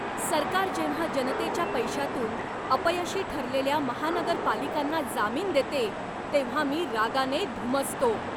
सरकार जेव्हा जनतेच्या पैशातून अपयशी ठरलेल्या महानगरपालिकांना जामीन देते तेव्हा मी रागाने धुमसतो.